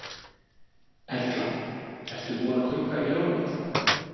Erla: Ert þú búin að kaupa í jólamatinn?